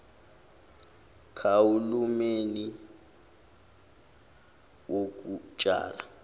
kahu lumeni wokutshala